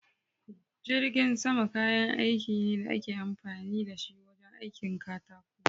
Jirgin sama kayan aiki ne da ake amfani da shi wajen aikin katako.